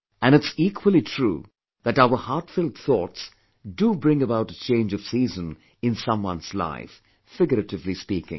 And it's equally true that our heartfelt thoughts do bring about a change of season in someone's life, figuratively speaking